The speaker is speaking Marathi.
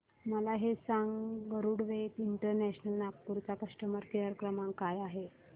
मला हे सांग गरुडवेग इंटरनॅशनल नागपूर चा कस्टमर केअर क्रमांक काय आहे